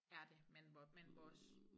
Er det men vores men vores